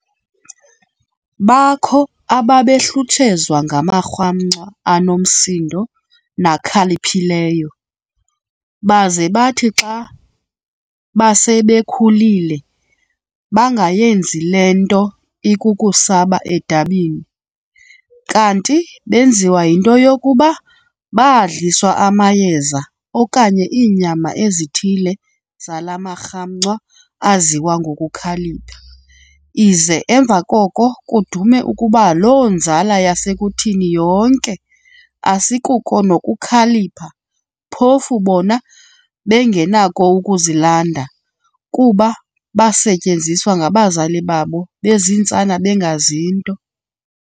Bakho ababehlutshezwa ngamarhamncwa anomsindo nakhaliphileyo, baze bathi xa base bekhulile, bangayenzi le nto ikukusaba edabini, kanti benziwa yinto yokuba baadliswa amayeza okanye iinyama ezithile zala marhamncwa aziwa ngokukhalipha, ize emva koko kudume ukuba loo nzala yasekuthini yonke, asikuko nokukhalipha, phofu bona bengenakho ukuzilanda, kuba baasetyenzwa ngabazali babo bezintsana bengazi nto.